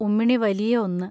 ഉമ്മിണി വലിയ ഒന്ന്